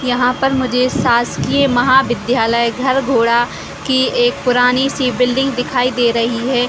यहाँ पर मुझे शासकीय महा विद्यालय घर घोडा की एक पुरानी सी बिल्डिंग दिखाई दे रही है।